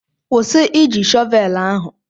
Kwụsị Ị ji shọvelu ahụ!